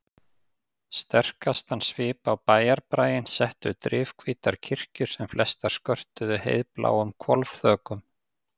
Sterkastan svip á bæjarbraginn settu drifhvítar kirkjur sem flestar skörtuðu heiðbláum hvolfþökum.